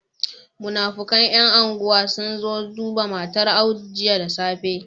Munafikan yan unguwa sunzo duba matar audu jiya da safe